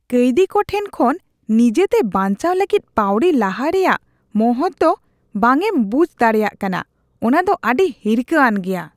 ᱠᱟᱹᱭᱫᱷᱤ ᱠᱚ ᱴᱷᱮᱱ ᱠᱷᱚᱱ ᱱᱤᱡᱮᱛᱮ ᱵᱟᱹᱧᱪᱟᱣ ᱞᱟᱹᱜᱤᱫ ᱯᱟᱣᱲᱤ ᱞᱟᱦᱟᱭ ᱨᱮᱭᱟᱜ ᱢᱚᱦᱚᱛ ᱫᱚ ᱵᱟᱝ ᱮᱢ ᱵᱩᱡ ᱫᱟᱲᱮᱭᱟᱜ ᱠᱟᱱᱟ ᱚᱱᱟ ᱫᱚ ᱟᱹᱰᱤ ᱦᱤᱨᱠᱷᱟᱹ ᱟᱱ ᱜᱮᱭᱟ ᱾ (ᱯᱩᱞᱤᱥ)